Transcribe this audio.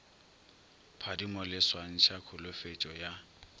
phadimo le swantšha kholofetšo ya